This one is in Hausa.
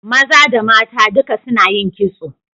Maza da mata duka suna yin kitso